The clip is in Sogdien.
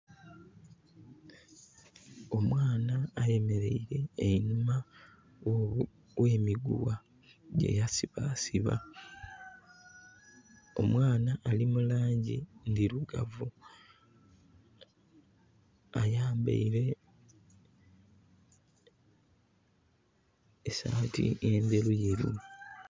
Omwana ayemereire einhuma ghemiguwa gye yasiba siba. Omwana ali mulangi ndhirugavu ayambeire esati endheruyeru.